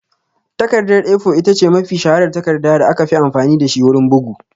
Takardar (A4) ita ce mafi shaharar takarda da aka fi amfani da shi wurin bugu